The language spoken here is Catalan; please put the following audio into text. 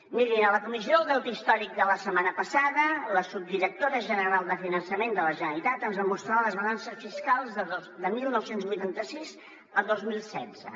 mirin en la comissió del deute històric de la setmana passada la subdirectora general de finançament de la generalitat ens va mostrar les balances fiscals de dinou vuitanta sis a dos mil setze